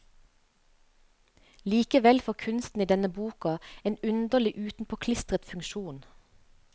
Likevel får kunsten i denne boka en underlig utenpåklistret funksjon.